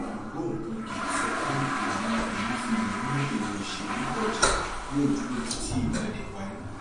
ògbóǹkangí sọ pé ìlànà emefiele ní èrò ìṣèlú ọjà yóò dúró títí ìwádìí parí